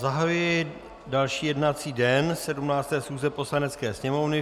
Zahajuji další jednací den 17. schůze Poslanecké sněmovny.